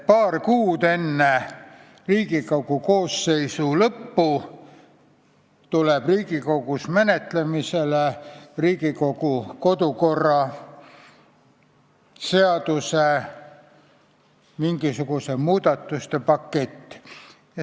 Paar kuud enne Riigikogu koosseisu volituste lõppu tuleb menetlemisele Riigikogu kodukorra seaduse mingisuguste muudatuste pakett.